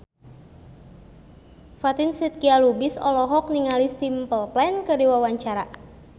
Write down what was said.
Fatin Shidqia Lubis olohok ningali Simple Plan keur diwawancara